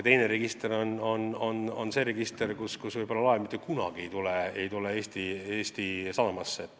Teine register on see, kus kirjas olev laev vahest mitte kunagi ei tule Eesti sadamasse.